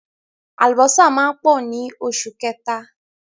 Àlùbọ́sà máa pọ̀ ní oṣù kẹta.